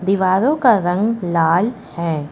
दीवारों का रंग लाल है।